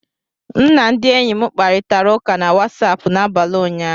M na ndị enyi m kparịtara ụka na Wasapụ n'abalị ụnyaahụ